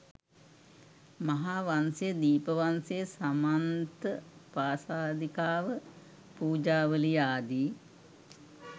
මහාවංශය, දීප වංශය, සමන්ත පාසාදිකාව, පූජාවලිය ආදී